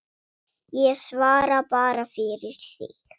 Ég svara bara fyrir mig.